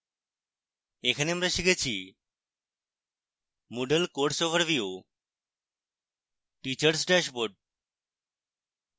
এখানে আমরা শিখেছি: